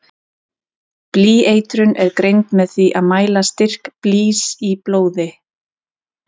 Blýeitrun er greind með því að mæla styrk blýs í blóði.